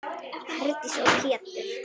Herdís og Pétur.